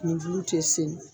nin bulu te sel